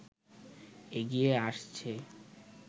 এগিয়ে আসছে